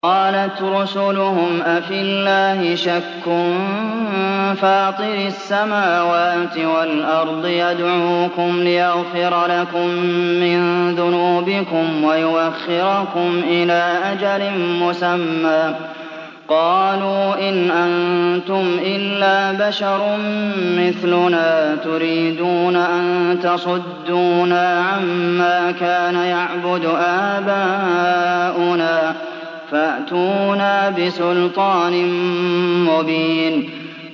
۞ قَالَتْ رُسُلُهُمْ أَفِي اللَّهِ شَكٌّ فَاطِرِ السَّمَاوَاتِ وَالْأَرْضِ ۖ يَدْعُوكُمْ لِيَغْفِرَ لَكُم مِّن ذُنُوبِكُمْ وَيُؤَخِّرَكُمْ إِلَىٰ أَجَلٍ مُّسَمًّى ۚ قَالُوا إِنْ أَنتُمْ إِلَّا بَشَرٌ مِّثْلُنَا تُرِيدُونَ أَن تَصُدُّونَا عَمَّا كَانَ يَعْبُدُ آبَاؤُنَا فَأْتُونَا بِسُلْطَانٍ مُّبِينٍ